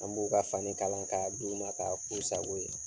An b'u ka fani kala ka d'u ma ka k'u sago ye.